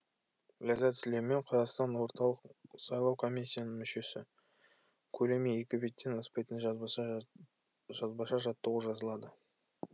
ләззат сүлеймен қазақстан орталық сайлау комиссияның мүшесі көлемі екі беттен аспайтын жазбаша жаттығу жазылады